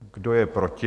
Kdo je proti?